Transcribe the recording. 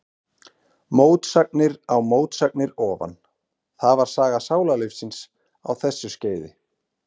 Mótsagnir á mótsagnir ofan, það var saga sálarlífsins á þessu skeiði.